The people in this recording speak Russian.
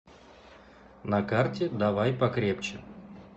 на карте давай покрепче